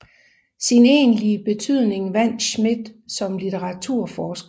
Sin egentlige betydning vandt Schmidt som litteraturhistoriker